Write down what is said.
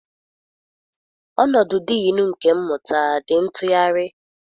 Ọnọdụ Diinu nke Mmụta dị ntụgharị.